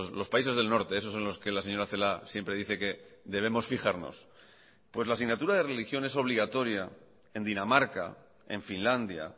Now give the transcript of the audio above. los países del norte esos en los que la señora celaá siempre dice que debemos fijarnos pues la asignatura de religión es obligatoria en dinamarca en finlandia